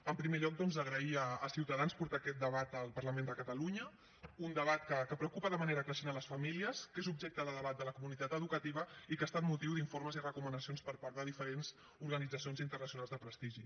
en primer lloc doncs agrair a ciutadans que porti aquest debat al parlament de catalunya un debat que preocupa de manera creixent les famílies que és objecte de debat de la comunitat educativa i que ha estat motiu d’informes i recomanacions per part de diferents organitzacions internacionals de prestigi